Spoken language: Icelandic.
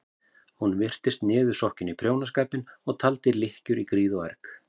Hún virtist niðursokkin í prjónaskapinn og taldi lykkjur í gríð og erg.